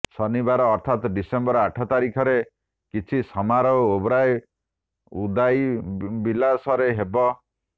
ଶନିବାର ଅର୍ଥାତ୍ ଡିସେମ୍ବର ଆଠ ତାରିଖରେ କିଛି ସମାରୋହ ଓବରାଏ ଉଦାଇବିଲାଶରେ ହେବ